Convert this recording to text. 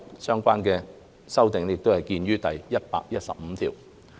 相關修訂見於第115條。